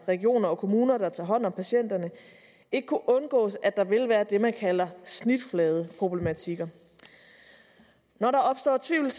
regioner og kommuner der tager hånd om patienterne ikke kunne undgås at der vil være det man kalder snitfladeproblematikker når der opstår tvivl